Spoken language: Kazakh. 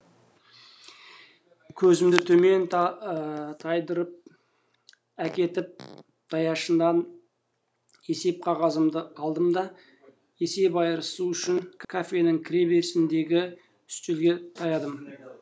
көзімді төмен тайдырыпәкетіп даяшыдан есеп қағазымды алдым да есеп айырысу үшін кафенің кіре берісіндегіүстелге таядым